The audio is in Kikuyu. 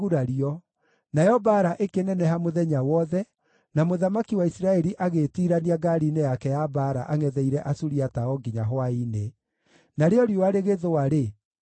Nayo mbaara ĩkĩneneha mũthenya wothe, na mũthamaki wa Isiraeli agĩĩtiirania ngaari-inĩ yake ya mbaara angʼetheire Asuriata o nginya hwaĩ-inĩ. Narĩo riũa rĩgĩthũa-rĩ, agĩkua.